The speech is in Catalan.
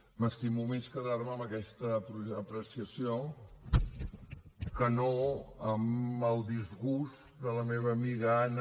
m’estimo més quedar me amb aquesta apreciació que no amb el disgust de la meva amiga anna